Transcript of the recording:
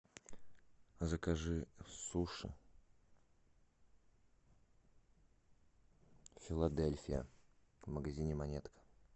закажи суши филадельфия в магазине монетка